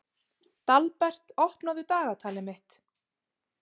Dalbert, opnaðu dagatalið mitt.